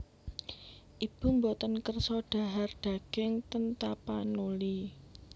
Ibu mboten kersa dhahar daging ten Tapanuli